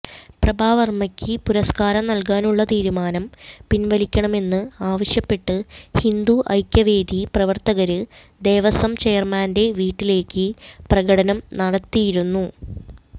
പ്രഭാവര്മ്മയ്ക്ക് പുരസ്കാരം നല്കാനുള്ള തീരുമാനം പിന്വലിക്കണമെന്ന് ആവശ്യപ്പെട്ട് ഹിന്ദു ഐക്യവേദി പ്രവര്ത്തകര് ദേവസ്വം ചെയര്മാന്റെ വീട്ടിലേക്ക് പ്രകടനം നടത്തിയിരുന്നു